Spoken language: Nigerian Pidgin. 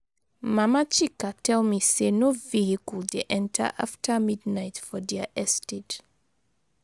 Mama Chika tell me say no vehicle dey enter after midnight for their estate.